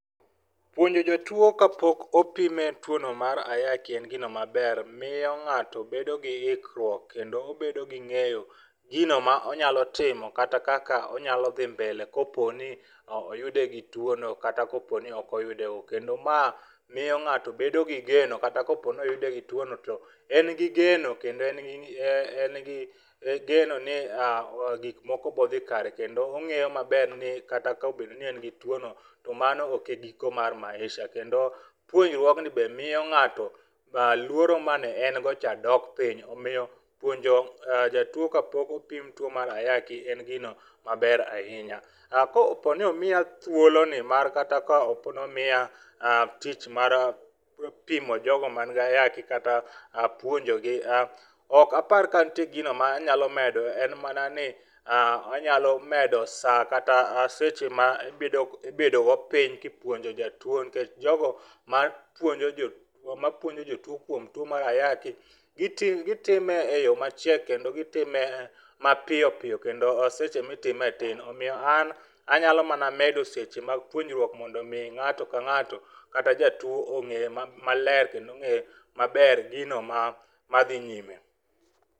Puonjo jotuwo ka pok opime tuwono mar ayaki en gino maber, moyo ng'ato bedo gi hikruok kendo obedo gi ng'eyo gino ma onyalo timo kata kaka onyalo dhi mbele ka opo ni oyudo gi tuwono kata ka opo ni ok oyude go. Kendo ma miyo ng'ato bedo gi geno kata ka opo ni oyude gi tuwono to en gi geno kendo en gi ni um geno ni um gik moko biro dhi kare, kendo ong'eyo maber ni kata ka obedo ni en gi tuwono, to mano ok e giko mar maisha. Kendo tuwo be miyo ng'ato luoro mane en go cha dok piny. Omiyo um puonjo jatuwo ka pok opim tuwo mar ayaki en gino maber ahinya. Um ka opo ni omiya thuoloni mar kata opo ni omiya um tich mar um pimo jogo mani gi Ayaki kata um puonjogi um, ok apar ka nitie gino ma anyalo medo, en mana ni um anyalo medo saa kata um seche ma ibedo go piny kipuonjo jatuwo, nikech jogo mapuonjo jotuwo kuom tuwo mar Ayaki gitime e yo machiek kendo gitime mapiyo piyo kendo seche mitime tin. Omiyo an anyalo mana medo seche mag puonjruok mono omi ng'ato ka ng'ato kata jatuwo ong'e maler kendo ong'e maber gino ma dhi nyime.